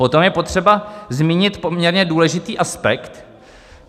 Potom je potřeba zmínit poměrně důležitý aspekt.